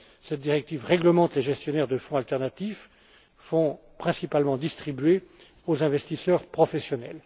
Cette directive réglemente les gestionnaires de fonds alternatifs fonds principalement distribués aux investisseurs professionnels.